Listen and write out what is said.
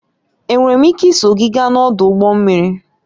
Enwere m ike iso gị gaa n'ọdụ ụgbọ mmiri?